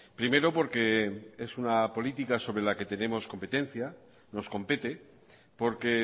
primero porque es una política sobre la que tenemos competencia nos compete porque